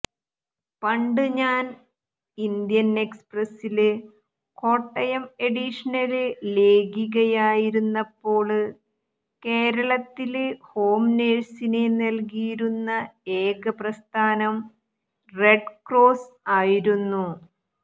പണ്ട് ഞാന് ഇന്ത്യന് എക്സ്പ്രസില് കോട്ടയം എഡിഷനില് ലേഖികയായിരുന്നപ്പോള് കേരളത്തില് ഹോംനഴ്സിനെ നല്കിയിരുന്ന ഏക പ്രസ്ഥാനം റെഡ്ക്രോസ് ആയിരുന്നു